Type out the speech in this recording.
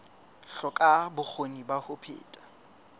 hloka bokgoni ba ho phetha